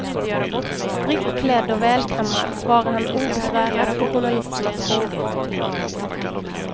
Strikt klädd och välkammad svarar han obesvärat på journalisternas frågor.